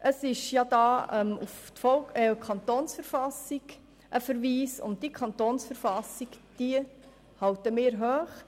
Es liegt ein Verweis auf die KV vor, und die KV halten wir hoch.